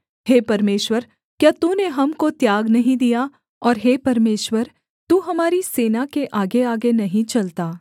हे परमेश्वर क्या तूने हमको त्याग नहीं दिया और हे परमेश्वर तू हमारी सेना के आगेआगे नहीं चलता